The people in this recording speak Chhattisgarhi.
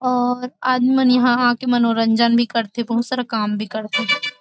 और आदमी मन यहाँ आके मनोरंजन भी करथे बहुत सारा काम भी करथे --